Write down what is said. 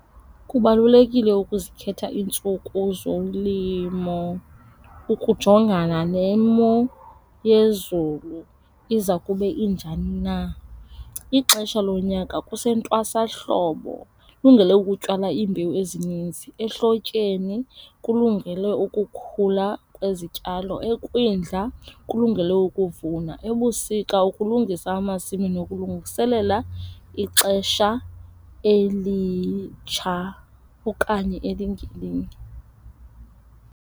Kubalulekile ukuzikhetha iintsuku zolimo ukujongana nemo yezulu iza kube injani na. Ixesha lonyaka kusentwasahlobo kulungele ukutyala iimbewu ezininzi. Ehlotyeni kulungele ukukhula kwezityalo. Ekwindla kulungele ukuvuna. Ebusika ukulungisa amasimi nokulungiselela ixesha elitsha okanye elingelinye.